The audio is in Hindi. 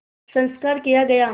संस्कार किया गया